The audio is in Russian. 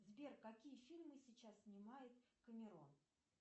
сбер какие фильмы сейчас снимает камерон